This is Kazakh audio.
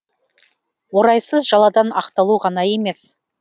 орайсыз жаладан ақталу ғана емес